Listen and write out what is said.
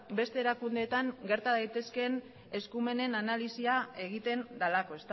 beste erakundeetan gerta daitezkeen eskumenen analisia egiten delako